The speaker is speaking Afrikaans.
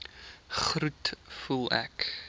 groet voel ek